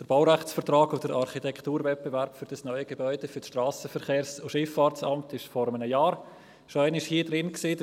Der Baurechtsvertrag und der Architekturwettbewerb für das neue Gebäude für das SVSA wurden vor einem Jahr hier in diesem Saal schon einmal beraten.